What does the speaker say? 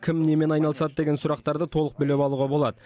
кім немен айналысады деген сұрақтарды толық біліп алуға болады